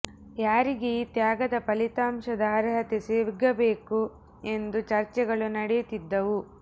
ಯಾರಿಗೆ ಈ ತ್ಯಾಗದ ಫಲಿತಾಂಶದ ಅರ್ಹತೆ ಸಿಗಬೇಕು ಎಂದು ಚರ್ಚೆಗಳು ನಡೆಯುತ್ತಿದ್ದವು